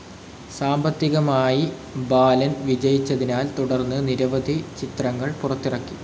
സാമ്പത്തികമായി ബാലൻ വിജയിച്ചതിനാൽ തുടർന്ന് നിരവധി ചിത്രങ്ങൾ പുറത്തിറക്കി.